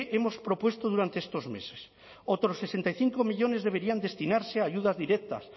hemos propuesto durante estos meses otros sesenta y cinco millónes deberían destinarse a ayudas directas